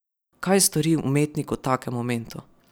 Kaj stori umetnik v takem momentu?